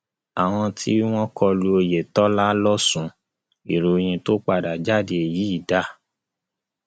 àwọn tí wọn kọlu oyetola losùn ìròyìn tó padà jáde yìí dáa